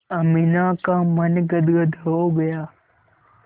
अमीना का मन गदगद हो गया